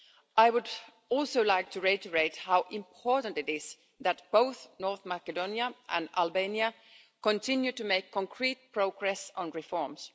I would also like to reiterate how important it is that both North Macedonia and Albania continue to make concrete progress on reforms.